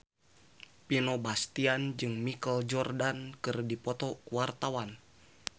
Vino Bastian jeung Michael Jordan keur dipoto ku wartawan